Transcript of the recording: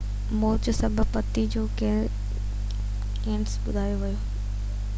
موت جو سبب پِتي جو ڪيئنسر ٻڌايو ويو